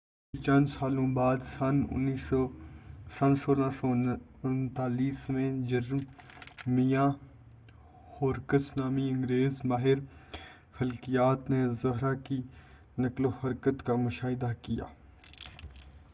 پھر، چند سالوں کے بعد، سن 1639 میں، جرمیاہ ہورکس نامی انگریز ماہر فلکیات نے زہرہ کی نقل و حرکت کا مشاہدہ کیا۔